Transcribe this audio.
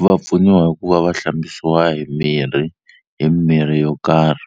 Va pfuniwa hi ku va va hlambisiwa hi mirhi hi mirhi yo karhi